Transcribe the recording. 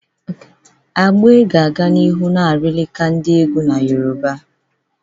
Agbe ga-aga n'ihu na-arịlịka ndi egwu na Yoruba.